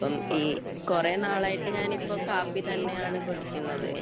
അപ്പം കുറെ കാലമായിട്ടു ഇപ്പം ഞാൻ കാപ്പി തന്നെയാണ് കുടിക്കുന്നത് എനിക്ക്